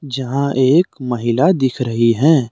जहां एक महिला दिख रही है।